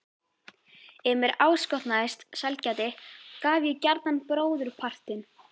Ef mér áskotnaðist sælgæti gaf ég gjarnan bróðurpartinn.